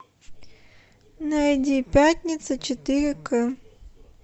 найди пятница четыре к